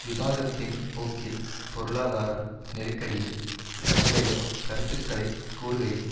விவாதத்தின் போக்கில் பொருளாதார நெருக்கடியில் தன்னுடைய கருத்துக்களை கூறுகையில்